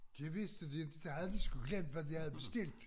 Det vidste de ikke der havde de sgu glemt hvad de havde bestilt